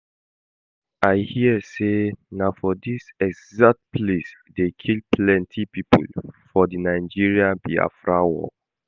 I hear say na for dis exact place dey kill plenty people for the Nigerian-Biafra war